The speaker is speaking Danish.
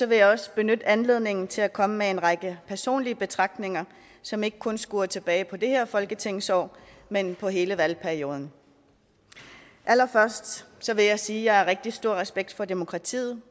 vil jeg også benytte anledningen til at komme med en række personlige betragtninger som ikke kun skuer tilbage på det her folketingsår men på hele valgperioden allerførst vil jeg sige at jeg har rigtig stor respekt for demokratiet